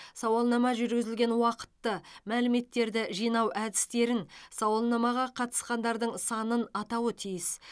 сауалнама жүргізілген уақытты мәліметтерді жинау әдістерін сауалнамаға қатысқандардың санын атауы тиіс